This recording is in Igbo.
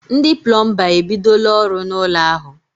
Ndị plọmba e bidola ọrụ n'ụlọ ahụ.